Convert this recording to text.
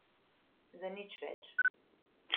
Za nič več.